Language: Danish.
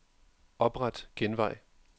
Opret genvej.